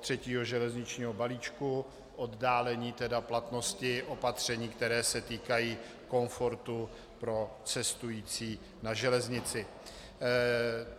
třetího železničního balíčku, oddálení tedy platnosti opatření, která se týkají komfortu pro cestující na železnici.